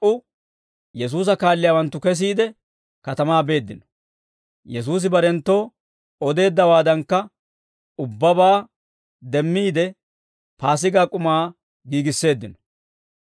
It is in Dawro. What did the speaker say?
He laa"u Yesuusa kaalliyaawanttu kesiide, katamaa beeddino; Yesuusi barenttoo odeeddawaadankka ubbabaa demmiide, Paasigaa k'umaa giigisseeddino.